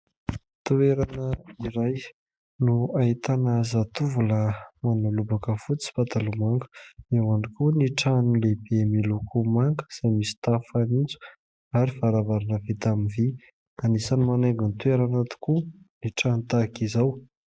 Toerana iray no ahitana zatovolahy manao lobaka fotsy sy pataloha manga. Eo ihany koa ny trano lehibe miloko manga izay misy tafo fanitso ary varavarana vita amin' ny vy, anisany manaingo ny toerana tokoa ny trano tahaka izao.